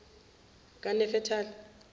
kanefetali